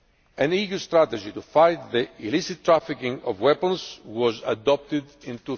An EU strategy to fight the illicit trafficking of weapons was adopted